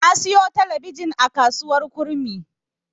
Na siyo talabijin a kasuwar Kurmi.